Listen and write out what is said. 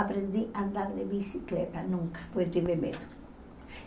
Aprendi a andar de bicicleta, nunca, pois tive medo.